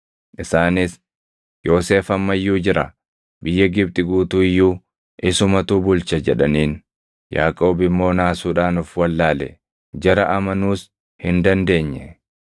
Isaanis, “Yoosef amma iyyuu jira! Biyya Gibxi guutuu iyyuu isumatu bulcha” jedhaniin. Yaaqoob immoo naasuudhaan of wallaale; jara amanuus hin dandeenya.